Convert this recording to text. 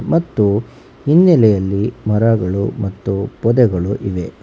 ಮತ್ತು ಹಿನ್ನಲೆಯಲ್ಲಿ ಮರಗಳು ಮತ್ತು ಪೊದೆಗಳು ಇವೆ.